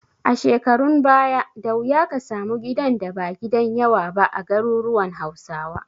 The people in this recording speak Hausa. A shekarun baya, da wuya ka samu gidan da ba gidan yawa ba a garuruwan Hausawa.